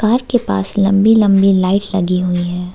घर के पास लंबी लंबी लाइट लगी हुई हैं।